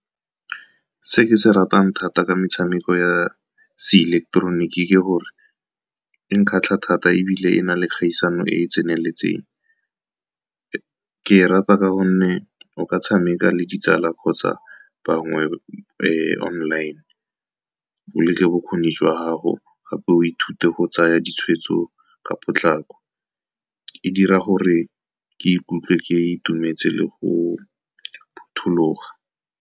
Se ke se ratang thata ka metshameko ya se-ileketeroniki, ke gore e nkgatlha thata ebile e na le kgaisano e e tseneletseng. Ke e rata ka gonne o ka tshameka le ditsala kgotsa bangwe online, bokgoni jwa gago gape o ithute go tsaya ditshwetso ka potlako. E dira gore ke ikutlwe ke itumetse le go phuthuloga.